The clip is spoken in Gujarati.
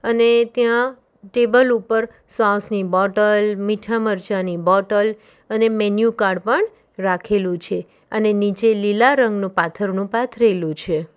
અને ત્યાં ટેબલ ઉપર સોસ ની બોટલ મીઠા મરચાની બોટલ અને મેન્યુ કાર્ડ પણ રાખેલું છે અને નીચે લીલા રંગનું પાથરનું પાથરેલું છે.